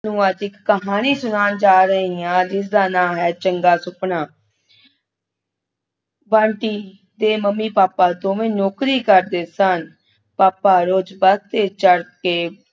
ਤੁਹਾਨੂੰ ਅੱਜ ਇੱਕ ਕਹਾਣੀ ਸੁਣਾਉਣ ਜਾ ਰਹੀ ਹਾਂ ਜਿਸ ਦਾ ਨਾਂ ਹੈ ਚੰਗਾ ਸੁਪਨਾ ਬੰਟੀ ਦੇ ਮੰਮੀ-ਪਾਪਾ ਦੋਨੋਂ ਨੌਕਰੀ ਕਰਦੇ ਸਨ ਪਾਪਾ ਰੋਜ਼ ਬੱਸ ਤੇ ਚੜ੍ਹ ਕੇ